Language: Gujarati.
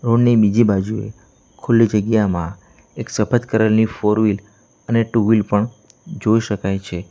રોડ ની બીજી બાજુએ ખુલ્લી જગ્યામાં એક સફેદ કરલ ની ફોર વીલ અને ટુ વીલ પણ જોઈ શકાય છે.